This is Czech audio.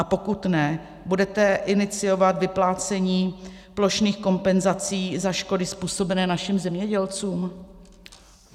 A pokud ne, budete iniciovat vyplácení plošných kompenzací za škody způsobené našim zemědělcům?